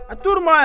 Durmayın!